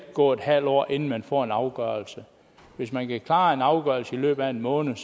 gå et halvt år inden man får en afgørelse hvis man kan klare en afgørelse i løbet af en måned